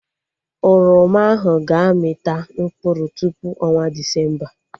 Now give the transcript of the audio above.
Oroma ahụ ga-amị ta mkpụrụ tupu ọnwa Desemba